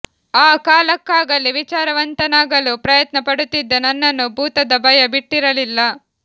ಆ ಕಾಲಕ್ಕಾಗಲೇ ವಿಚಾರವಂತನಾಗಲು ಪ್ರಯತ್ನ ಪಡುತ್ತಿದ್ದ ನನ್ನನ್ನೂ ಭೂತದ ಭಯ ಬಿಟ್ಟಿರಲಿಲ್ಲ